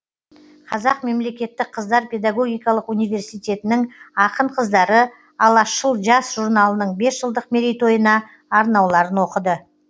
қазақ мемлекеттік қыздар педогогикалық университетінің ақын қыздары алашшыл жас журналының бес жылдық мерейтойына арнауларын оқыды